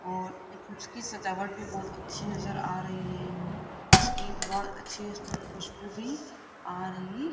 और इसकी सजावट भी बहुत अच्छी नजर आ रही है इसके बहुत अच्छे इसमें खुशबू भी आ रही --